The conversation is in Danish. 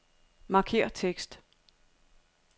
Markér tekst.